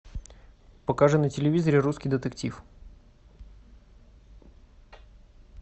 покажи на телевизоре русский детектив